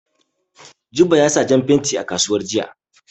Jibo ya saya jan fenti a kasuwa jiya.